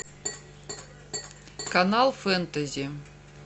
канал фэнтези